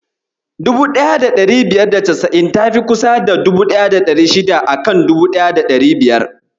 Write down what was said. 1590 tafi kusa da 1600 a kan 1500.